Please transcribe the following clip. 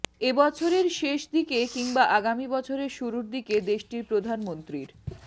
এ বছরের শেষ দিকে কিংবা আগামী বছরের শুরুর দিকে দেশটির প্রধানমন্ত্রীর